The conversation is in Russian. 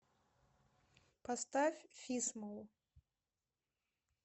поставь фисмол